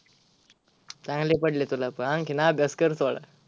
चांगले पडलेत तुला पण आणखीन अभ्यास कर थोडा.